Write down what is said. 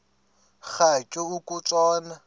rhatya uku tshona